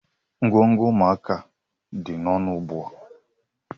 Ngwongwo ụmụaka dị ọnụ ugbu a.